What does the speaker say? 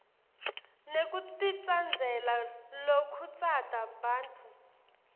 nekutitsandzela lokhutsata bantfu